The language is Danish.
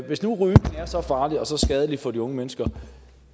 hvis nu rygning er så farlig og så skadelig for de unge mennesker